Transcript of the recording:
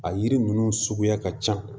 A yiri ninnu suguya ka ca